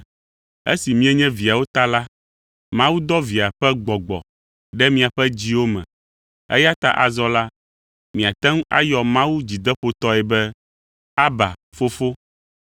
Esi mienye viawo ta la, Mawu dɔ Via ƒe Gbɔgbɔ ɖe miaƒe dziwo me, eya ta azɔ la, miate ŋu ayɔ Mawu dzideƒotɔe be, “Abba, Fofo.”